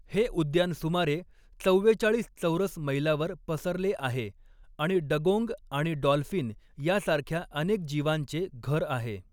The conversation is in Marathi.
हे उद्यान सुमारे चव्वेचाळिस चौरस मैलावर पसरले आहे आणि डगोंग आणि डॉल्फिन यासारख्या अनेक जीवांचे घर आहे.